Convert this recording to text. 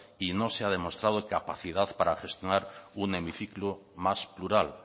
y no se ha demostrado capacidad para gestionar un hemiciclo más plural